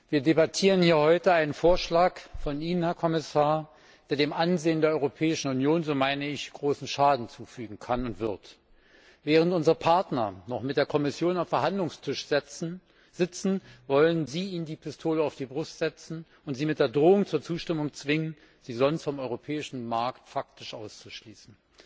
Wir debattieren heute einen Vorschlag von Ihnen, Herr Kommissar, der dem Ansehen der Europäischen Union großen Schaden zufügen kann und wird. Während unsere Partner noch mit der Kommission am Verhandlungstisch sitzen, wollen Sie ihnen die Pistole auf die Brust setzen und sie mit der Drohung zur Zustimmung zwingen, sie sonst vom Europäischen Markt faktisch auszuschließen.